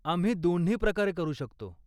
आम्ही दोन्ही प्रकारे करू शकतो.